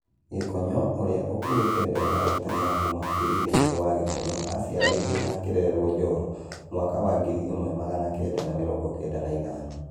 Gĩkonyo, ũrĩa ũkuĩte mbegũ ya gutengera kuma kũrĩ ithe Njerũ wa Gikonyo aciariruo na akĩrererũo Njoro mwaka wa ngiri ĩmwe magana kenda na mĩrongo kenda na ithano.